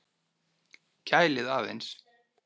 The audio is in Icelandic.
Kælið aðeins.